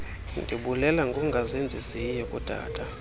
ndibulela ngongazenzisiyo kutata